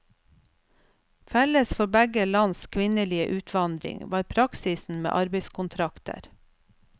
Felles for begge lands kvinnelige utvandring var praksisen med arbeidskontrakter.